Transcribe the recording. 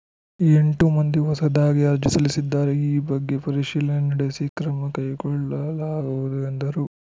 ಎಂಟು ಮಂದಿ ಹೊಸದಾಗಿ ಅರ್ಜಿ ಸಲ್ಲಿಸಿದ್ದಾರೆ ಈ ಬಗ್ಗೆ ಪರಿಶೀಲನೆ ನಡೆಸಿ ಕ್ರಮ ಕೈಗೊಳ್ಳಲಾಗುವುದು ಎಂದರು